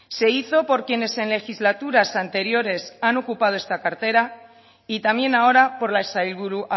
se hizo por quienes en legislaturas anteriores han ocupado esta cartera y también ahora por la sailburu